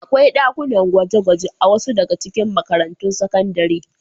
Akwai ɗakunan gwaje-gwaje a wasu daga cikin makarantun sakandare.